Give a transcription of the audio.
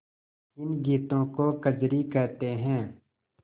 इन गीतों को कजरी कहते हैं